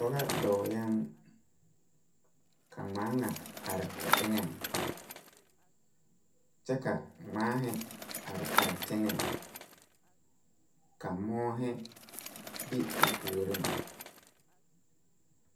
Pɔgɔ dɔɔyɛɛŋ ka ngmaaŋa are o eŋɛŋ kyɛ ka ngmaahi are are teŋɛŋ ka moɔɔhi be o puoriŋ.